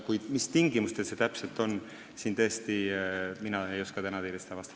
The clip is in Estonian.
Kuid mina ei oska teile tõesti täna vastata, mis tingimustel see täpselt võimalik on.